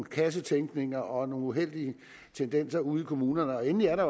kassetænkning og uheldige tendenser ude i kommunerne endelig er der